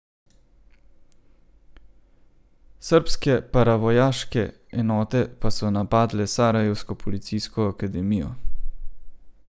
Srbske paravojaške enote pa so napadle sarajevsko policijsko akademijo.